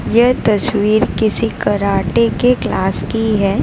यह तस्वीर किसी कराटे के क्लास की है।